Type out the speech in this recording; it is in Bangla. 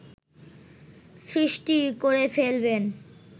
সৃষ্টি করে ফেলবেন